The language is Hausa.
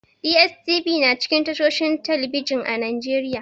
DSTV na cikin tashohin talbijin a Najeriya.